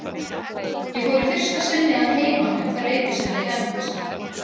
Ég fór í fyrsta sinni að heiman um það leyti sem ég fermdist.